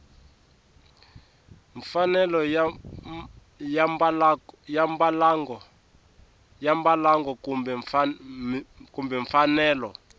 mfanelo ya mbalango kumbe mfanelo